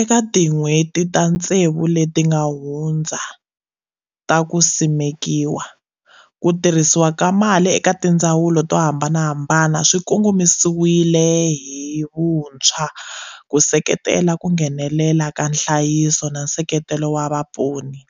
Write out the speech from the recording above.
Eka tin'hweti ta ntsevu leti nga hundza ta ku simekiwa, ku tirhisiwa ka mali eka tindzawulo to hambanahambana swi kongomisiwile hi vuntshwa ku seketela ku nghenelela ka nhlayiso na nseketelo wa vaponi,